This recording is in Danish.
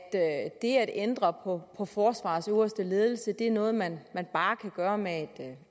det at ændre på forsvarets øverste ledelse er noget man bare kan gøre med